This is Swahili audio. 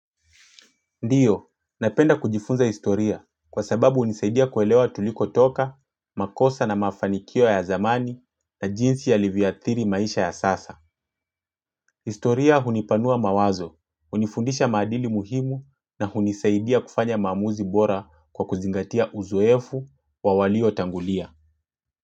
Ndiyo, napenda kujifunza historia kwa sababu hunisaidia kuelewa tuliko toka, makosa na mafanikio ya zamani na jinsi yalivyoathiri maisha ya sasa. Historia hunipanua mawazo, hunifundisha maadili muhimu na hunisaidia kufanya maamuzi bora kwa kuzingatia uzoefu wa walio tangulia.